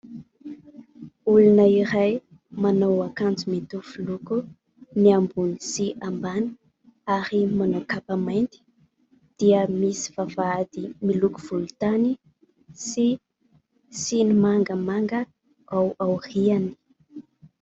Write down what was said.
Olona iray manao akanjo mitovy loko ny ambony sy ambany ary manao kapamainty dia misy vavahady miloko volontany sy siny mangamanga ao aoriany.